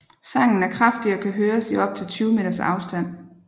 Sangen er kraftig og kan høres i op til 20 meters afstand